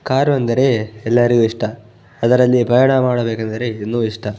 car ಅಂದರೆ ಎಲ್ಲರಿಗು ಇಷ್ಟ ಅದರಲ್ಲಿ ಪ್ರಯಾಣ ಮಾಡಬೇಕೆಂದರೆ ಇನ್ನು ಇಷ್ಟ --